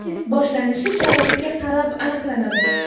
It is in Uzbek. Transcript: Test boshlanishi sharoitga qarab aniqlanadi.